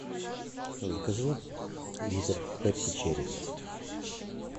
закажи литр пепси черри